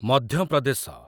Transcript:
ମଧ୍ୟ ପ୍ରଦେଶ